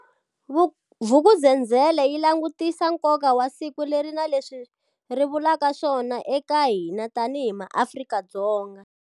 Vuku'uzenzele yi langutisisa nkoka wa siku leri na leswi ri vulaka swona eka hina tanihi maAfrika-Dzonga.